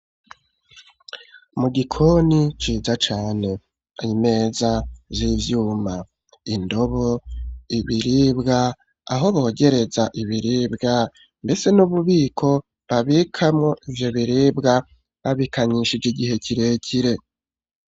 Mu gikoni ciza cane imeza z'ivyuma indobo ibiribwa aho bogereza ibiribwa mbese n'ububiko babikamwo ivyo biribwa babikanyishije igihe kirekire